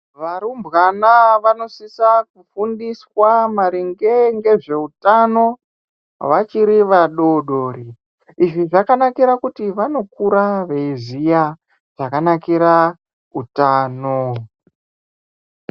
Varumbwana vanosisa kufundiswa maringe ngezvewutano vachiri vadodori. Izvi zvakanakira kuti vanokura veyiziya zvakanakira utano.